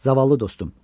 Zavallı dostum!